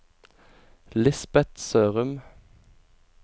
Lisbet Sørum